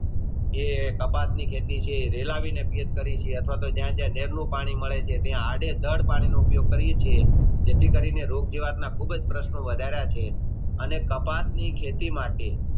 જે કપાસ ની ખેતી છે વે વેળા વિને કરીયે છીએ અથવા શ જ્યાં જ્યાં નેર નું પાણી મળે ત્યાં એડી એ ધાડ પાણી નો ઉપયોગ કરીયે છીએ જેથી કરીને ખુબ જ પ્રશ્નો વધાર્યા છે અને કપાસની ખેતી મટે